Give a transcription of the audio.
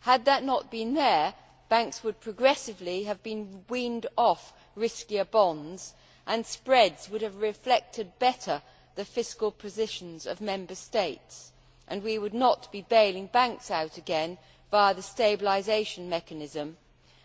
Had that not been there, banks would progressively have been weaned off riskier bonds and spreads would have reflected better the fiscal positions of Member States and we would not be bailing banks out again via the Stabilisation Mechanism